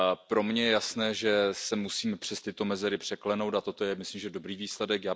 Pro mě je jasné, že se musíme přes tyto mezery překlenout, a toto je, myslím, dobrý výsledek.